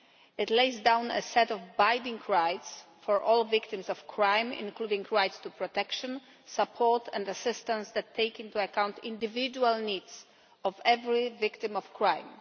It lays down a set of binding rights for all victims of crime, including rights to protection, support and assistance that take into account the individual needs of every victim of crime.